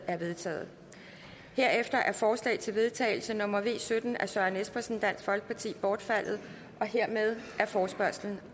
er vedtaget herefter forslag til vedtagelse nummer v sytten af søren espersen bortfaldet hermed er forespørgslen